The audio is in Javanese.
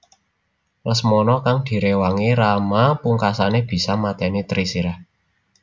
Lesmana kang diréwangi Rama pungkasané bisa matèni Trisirah